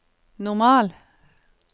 normal